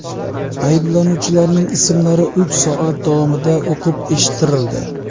Ayblanuvchilarning ismlari uch soat davomida o‘qib eshittirildi.